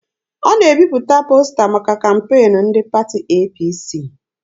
Ọ na-ebipụta posta maka kampeenu ndị pati APC.